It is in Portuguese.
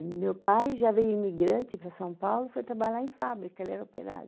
E meu pai já veio imigrante para São Paulo, foi trabalhar em fábrica, ele era operário.